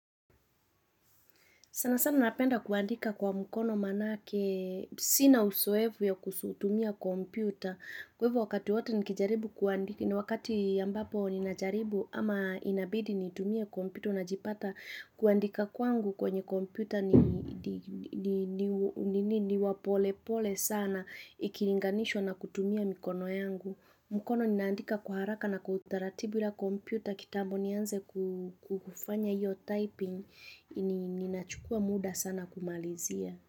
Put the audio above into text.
Sana sana napenda kuandika kwa mkono manake, sina uzoevu ya kuzitumia kompyuta. Kwevu wakati wate nikijaribu kuandika, ni wakati ambapo ninajaribu ama inabidi nitumia kompyuta najipata kuandika kwangu kwenye kompyuta ni wa pole pole sana ikilinganishwa na kutumia mikono yangu. Mkono ninaandika kwa haraka na kutaratibu ya komputa kitambo nianze kufanya hiyo typing, ninachukua muda sana kumalizia.